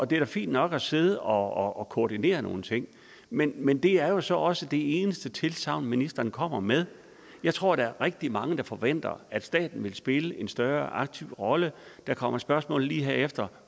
da fint nok at sidde og koordinere nogle ting men men det er så også det eneste tilsagn ministeren kommer med jeg tror der er rigtig mange der forventer at staten vil spille en større og mere aktiv rolle der kommer spørgsmål herefter